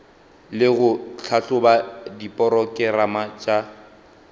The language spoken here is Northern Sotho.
le go tlhahloba diporokerama tša